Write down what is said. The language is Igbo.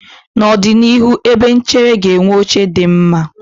N'ọdịnihu, ebe echere ga-enwe oche dị mma.